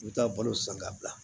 I bɛ taa balo san ka bila